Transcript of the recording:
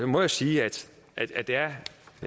må jeg sige at